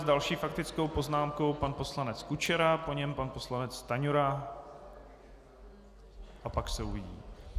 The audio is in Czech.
S další faktickou poznámkou pan poslanec Kučera, po něm pan poslanec Stanjura a pak se uvidí.